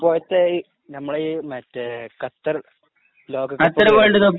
നമ്മുടെ ഈ മറ്റേ ഖത്തർ ലോകകപ്പ്